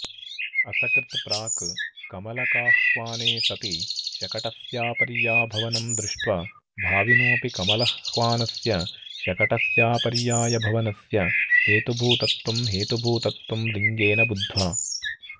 असकृत् प्राक् कमलकाह्वाने सति शकटस्यापर्याभवनं दृष्ट्वा भाविनोऽपि कमलह्वानस्य शकटस्यापर्यायभवनस्य हेतुभूतत्वं हेतुभूतत्वं लिङ्गेन बुध्वा